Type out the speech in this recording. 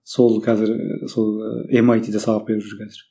сол қазір і сол і эмайтиде сабақ беріп жүр қазір